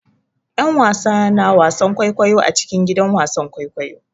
'Yan wasa na wasan kwaikwayo a cikin gidan wasan kwaikwayo.